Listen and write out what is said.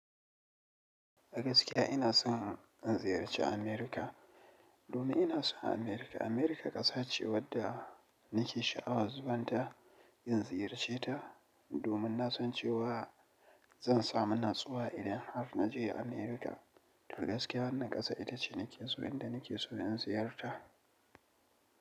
Gaskiya ina son in ziyarci amerika domin ina son America. America ƙasa ce wadda nake sha'awar zuwanta in ziyarce ta. Domin na san cewa zan samu natsuwa idan har naje America. To gaskiya wannan ƙasa ita ce nake so, inda nake so in ziyarta.